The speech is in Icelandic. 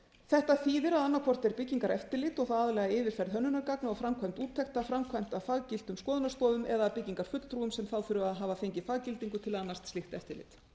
þetta þýðir að annað hvort er byggingareftirlit og aðallega yfirferð hönnunargagna og framkvæmd úttektar framkvæmt af faggiltum skoðunarstofum eða byggingarfulltrúum sem þurfa að hafa fengið faggildingu til að annast slíkt eftirlit